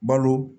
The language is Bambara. Balo